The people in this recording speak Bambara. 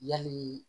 Yali